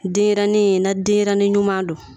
Denɲɛrɛnin in denɲɛrɛnin ɲuman don